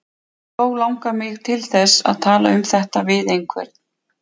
Þó langar mig til þess að tala um þetta við einhvern.